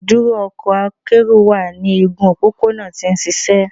“Iduro ọkọ akero wa ni igun opopona ti o nšišẹ. "